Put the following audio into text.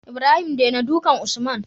Ibrahim dena dukan usman